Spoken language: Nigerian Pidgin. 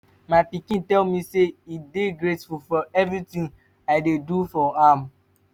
my pikin tell me say e dey grateful for everything i dey do for am